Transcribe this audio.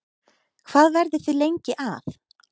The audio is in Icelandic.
Hvað verðið þið lengi að?